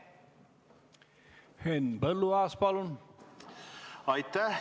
Henn Põlluaas, palun!